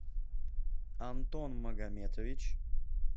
антон магометович